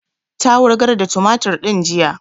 Ta wurgar da tumatur din jiya